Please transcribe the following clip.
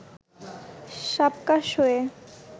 সাবকাশ হয়ে